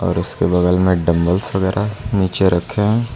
उसके बगल में डंबल्स वगैरा नीचे रखें हैं।